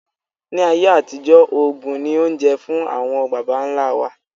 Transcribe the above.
Ni ayé àtijọ́, oògùn ni oúnjẹ fún àwọn bàbà ńla wa.